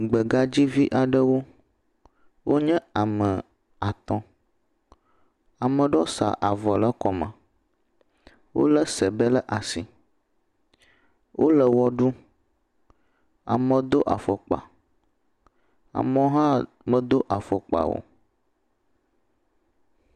Gbegadzivi aɖewo wonye ame atɔ̃. Ame aɖewo sa avɔ ɖe kɔme. Wole sebe ɖe asi. Wole ʋe ɖum. Amewo do afɔkpa. Amewo hã medo afɔkpa o.